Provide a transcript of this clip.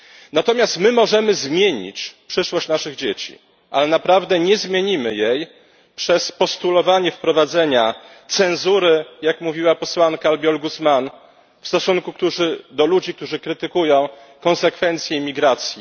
Natomiast my możemy zmienić przyszłość naszych dzieci, ale naprawdę nie zmienimy jej przez postulowanie wprowadzenia cenzury, jak mówiła posłanka Albiol Guzmán, w stosunku do ludzi, którzy krytykują konsekwencje migracji.